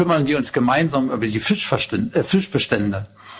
Und kümmern wir uns gemeinsam über die Fischbestände?